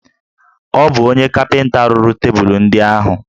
Ọ bụ onye kapịnta rụrụ tebụlụ ndị ahụ